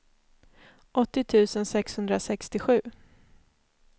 åttio tusen sexhundrasextiosju